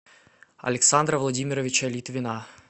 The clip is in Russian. александра владимировича литвина